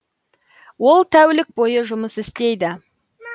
ол тәулік бойы жұмыс істейді